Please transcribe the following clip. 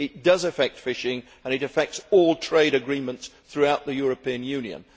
it does affect fishing and it affects all trade agreements throughout the European Union.